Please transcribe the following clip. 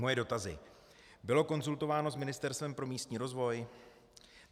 Moje dotazy: Bylo konzultováno s Ministerstvem pro místní rozvoj?